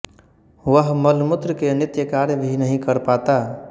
वह मलमूत्र के नित्य कार्य भी नहीं कर पाता